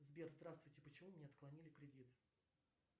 сбер здравствуйте почему мне отклонили кредит